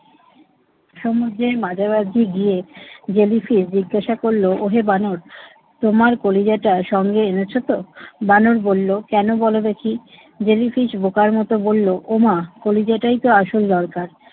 সমুদ্রের মাঝামাঝি গিয়ে জেলিফিশ জিজ্ঞাসা করল ওহে বানর, তোমার কলিজাটা সঙ্গে এনেছে তো? বানর বলল, কেন বল দেখি। জেলিফিশ বোকার মত বলল, ওমা কলিজাটাই তো আসল দরকার।